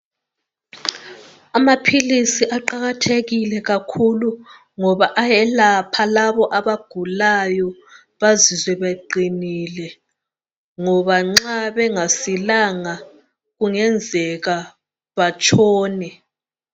Amaphilisi aqakathekile kakhulu ngoba ayelapha labo abagulayo bazizwe beqinile ngoba nxa bengasilanga kungenzeka batshone.